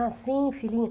Ah, sim, filhinha.